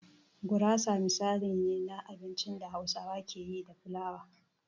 Gurasa misali ne na abincin da Hausawa ke yi da filawa.